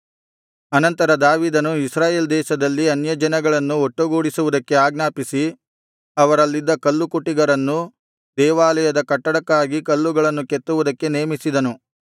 ಅನಂತರ ದಾವೀದನು ಇಸ್ರಾಯೇಲ್ ದೇಶದಲ್ಲಿದ್ದ ಅನ್ಯಜನಗಳನ್ನು ಒಟ್ಟುಗೂಡಿಸುವುದಕ್ಕೆ ಆಜ್ಞಾಪಿಸಿ ಅವರಲ್ಲಿದ್ದ ಕಲ್ಲುಕುಟಿಗರನ್ನು ದೇವಾಲಯದ ಕಟ್ಟಡಕ್ಕಾಗಿ ಕಲ್ಲುಗಳನ್ನು ಕೆತ್ತುವುದಕ್ಕೆ ನೇಮಿಸಿದನು